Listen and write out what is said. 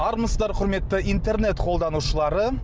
армысыздар құрметті интернет қолданушылары